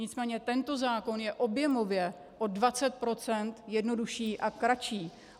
Nicméně tento zákon je objemově o 20 % jednodušší a kratší.